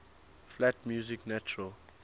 flat music natural